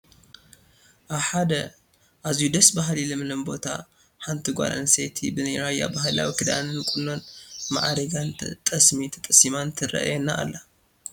ኣብ ሓደ ኣዝዩ ደስ በሃሊ ለምለም ቦታ ሓንቲ ጓል ኣነስተይቲ ብናይ ራያ ባህላዊ ክዳንን ቁኖን ማዕሪጋን ጠስሚ ተጣሲማን ትርአየና ኣላ፡፡